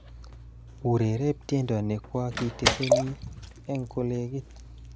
Urereb tiendo nekwokitesini eng kolekit